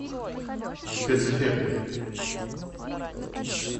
спецэффекты